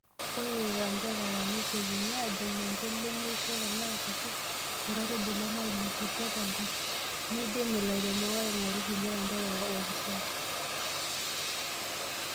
Ore lelo anterera neitekini ajo ninche lemeishio tenaa kutik nkaitubulu naileputwa tenkop, neidim ilairemok aaing'oru kulie anterera oopashari.